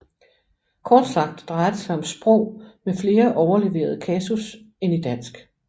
Kort sagt drejer det sig om sprog med flere overleverede kasus end i dansk